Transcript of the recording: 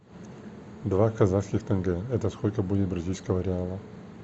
два казахских тенге это сколько будет бразильского реала